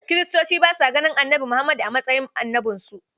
Kiristoci ba sa ganin Annabi Muhammadu a matsayin annabinsu.